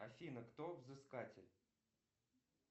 афина кто взыскатель